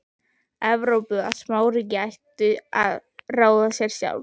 Evrópu, að smáríki ættu að ráða sér sjálf.